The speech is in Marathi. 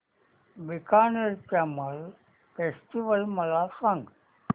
बीकानेर कॅमल फेस्टिवल मला सांग